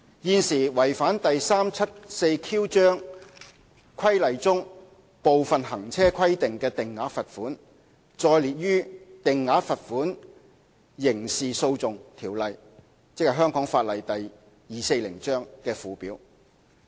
現時違反第 374Q 章規例中部分行車規定的定額罰款，載列於《定額罰款條例》的附表。